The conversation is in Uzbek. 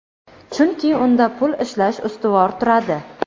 chunki unda pul ishlash ustuvor turadi.